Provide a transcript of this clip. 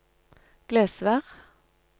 Glesvær